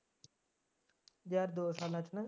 ਯਾਰ ਦੋ ਸਾਲਾਂ ਚ